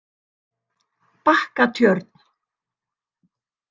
Bakkatjörn